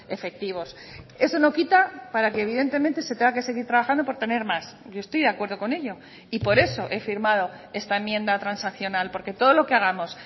efectivos eso no quita para que evidentemente se tenga que seguir trabajando por tener más yo estoy de acuerdo con ello y por eso he firmado esta enmienda transaccional porque todo lo que hagamos